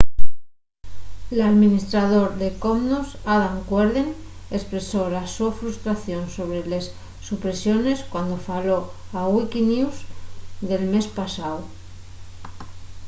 l’alministrador de commons adam cuerden espresó la so frustración sobre les supresiones cuando faló a wikinews el mes pasáu